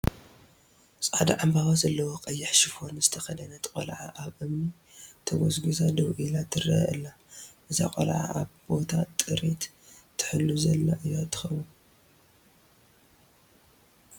ፃዕዳ ዕምበባ ዘለዎ ቀይሕ ሹፎን ዝተኸደነት ቆልዓ ኣብ እምኒ ተጐዝጒዛ ደው ኢላ ትርአ ኣላ፡፡ እዛ ቆልዓ ኣብ ቦታ ጥሪት ትሕሉ ዛላ እያ ትኸውን፡፡